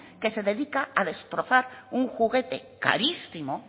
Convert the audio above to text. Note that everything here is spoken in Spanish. que se dedica a destrozar un juguete carísimo